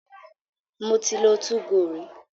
Mo ti lo 2go rí.